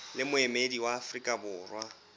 le moemedi wa afrika borwa